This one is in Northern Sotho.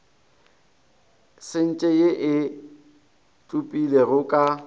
sente ye e tsupegilego ka